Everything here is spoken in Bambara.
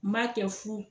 N b'a kɛ fu